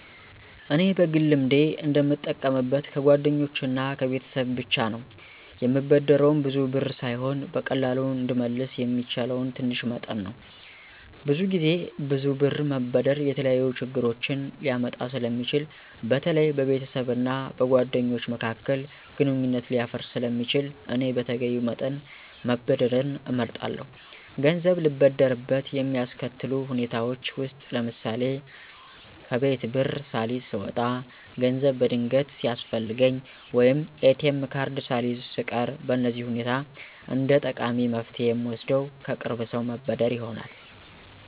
እኔ በግል ልምዴ እንደምጠቀምበት ከጓደኞቼ እና ከቤተሰብ ብቻ ነው፤ የምበደረውም ብዙ ብር ሳይሆን በቀላሉ እንድመለስ የሚችለው ትንሽ መጠን ነው። ብዙ ጊዜ ብዙ ብር መበደር የተለያዩ ችግሮችን ሊያመጣ ስለሚችል በተለይ በቤተሰብ እና በጓደኞች መካከል ግንኙነት ሊያፈርስ ስለሚችል እኔ በተገቢው መጠን መበደርን እመርጣለሁ። ገንዘብ ልበደርበት የሚያስከትሉ ሁኔታዎች ውስጥ ለምሳሌ፣ ከቤት ብር ሳልይዝ ስወጣ፣ ገንዘብ በድንገት ሲያስፈልገኝ፣ ወይም ATM ካርድ ሳልይዝ ስቀር በእነዚህ ሁኔታ እንደጠቃሚ መፍትሄ የምወስደው ከቅርብ ሰው መበደር ይሆናል።